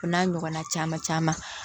O n'a ɲɔgɔnna caman caman